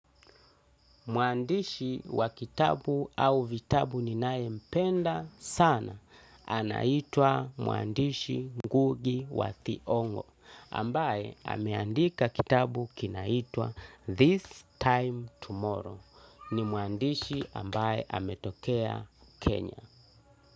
Muandishi wa kitabu au vitabu ninae mpenda sana anaitwa muandishi ngugi wa thiongo ambaye ameandika kitabu kinaitwa This Time Tomorrow ni muandishi ambaye ametokea Kenya.